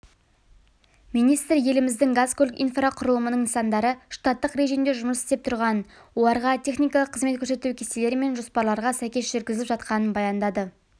министр еліміздің газ-көлік инфрақұрылымының нысандары штаттық режимде жұмыс істеп тұрғанын оларға техникалық қызмет көрсету кестелер мен жоспарларға сәйкес жүргізіліп жатқанын баяндады